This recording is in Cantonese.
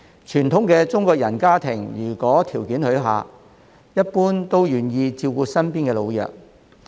傳統的中國人家庭如果條件許可，一般都願意照顧身邊的老弱。